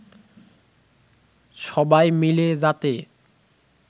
সবাই মিলে যাতে